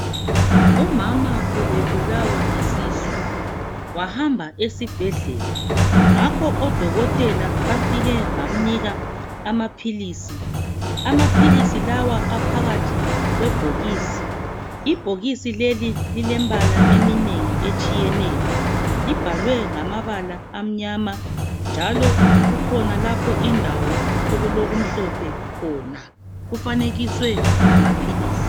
Umama ubebulawa yisisu. Wahamba esibhedlela. Ngakho odokotela bafike bamnika amaphilisi. Amaphilisi lawa aphakathi kwebhokisi. Ibhokisi leli lilembala eminengi etshiyeneyo. Libhalwe ngamabala amnyama, njalo kukhona lapha indawo, okulokumhlophe khona. Kufanekiswe lamaphilisi.